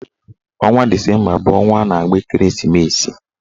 Ọnwa disemba bụ ọnwa a na-agba ekereesimesi